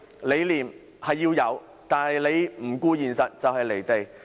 理念的確需要，但不能不顧現實，否則就會"離地"。